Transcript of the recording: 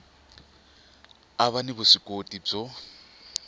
a va ni vuswikoti byo